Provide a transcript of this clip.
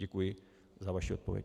Děkuji za vaši odpověď.